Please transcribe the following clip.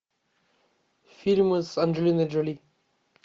фильмы с анджелиной джоли